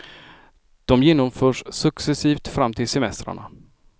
De genomförs successivt fram till semestrarna.